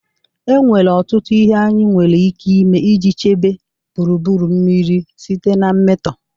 Enwere ọtụtụ ihe anyị nwere ike ime iji chebe gburugburu mmiri site na mmetọ.